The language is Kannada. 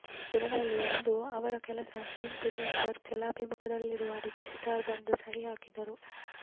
ದಿನಗಳಲ್ಲಿ ಒಂದು ಅವರು ಕೇವಲ ಸೇಂಟ್ ಪೀಟರ್ಸ್ಬರ್ಗ್ ಜಲಾಭಿಮುಖದಲ್ಲಿರುವ ರಿಜಿಸ್ಟ್ರಾರ್ ಬಂದು ಸಹಿ ಹಾಕಿದರು